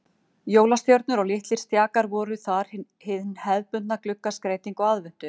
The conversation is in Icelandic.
Jólastjörnur og litlir stjakar voru þar hin hefðbundna gluggaskreyting á aðventu.